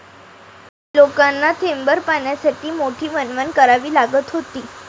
लोकांना थेंबभर पाण्यासाठी मोठी वणवण करावी लागत होती.